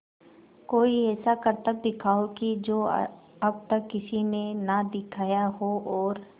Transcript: कोई ऐसा करतब दिखाओ कि जो अब तक किसी ने ना दिखाया हो और